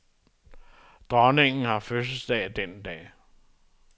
Dronningen har fødselsdag den dag.